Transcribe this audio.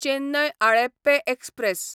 Chennai Alleppey express